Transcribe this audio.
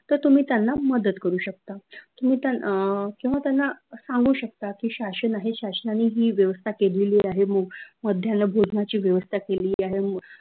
त तुम्ही त्यांना मदत करू शकता तुम्ही त्यांना अं किंव्हा त्यांना सांगू शकता की शासन आहे शाशनानि ही व्यवस्था केलेली आहे मध्यान्न भोजनाची व्यवस्था केलेली आहे